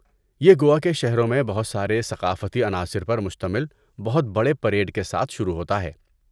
یہ گوا کے شہروں میں بہت سارے ثقافتی عناصر پر مشتمل بہت بڑے پریڈ کے ساتھ شروع ہوتا ہے۔